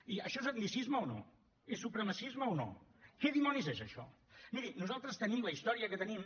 i això és etnicisme o no és supremacisme o no què dimonis és això miri nosaltres tenim la història que tenim